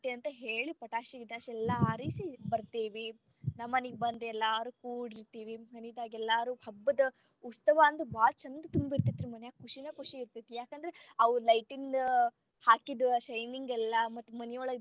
ಅಂತ ಹೇಳಿ ಪಟಾಕ್ಷಿ ಗಿಟಾಕ್ಷಿ ಎಲ್ಲಾ ಹಾರಿಸಿ ಬರ್ತೇವಿ, ನಮ್ಮ ಮನಿಗ ಬಂದ ಎಲ್ಲಾರು ಕುಡಿರತೀವಿ ಮನಿನಾಗ ಎಲ್ಲರು ಕುಡಿದ ಹಬ್ಬದ ಉತ್ಸವ್ ಅಂತ ಬಾಳಾ ಚಂದ ತುಂಬಿರತೇತಿ ರೀ ಮನ್ಯಾಗ ಖುಷಿನ ಖುಷಿ ಇರತೇತಿ ಯಾಕಂದರ ಅವು light ದ್ ಹಾಕಿದ್ shining ಎಲ್ಲಾ ಮತ್ತ ಮನಿಯೊಳಗ.